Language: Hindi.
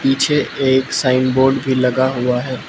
पीछे एक साइन बोर्ड भी लगा हुआ है।